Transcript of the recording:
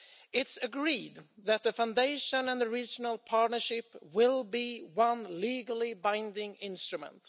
It is agreed that the foundation and the regional partnerships will be one legally binding instrument.